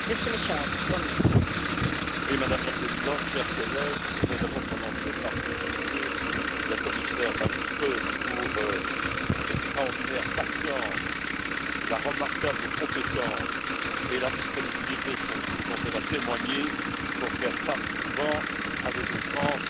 Madame la Présidente, chers collègues, je voudrais d'abord commencer par féliciter la commissaire Malmström pour l'extraordinaire patience, la remarquable compétence et la disponibilité, surtout, dont elle a témoigné pour faire face, souvent, à des outrances et à des contrevérités. Car, enfin,